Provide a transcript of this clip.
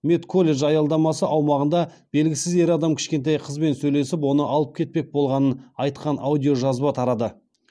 медколледж аялдамасы аумағында белгісіз ер адам кішкентай қызбен сөйлесіп оны алып кетпек болғанын айтқан аудиожазба тарады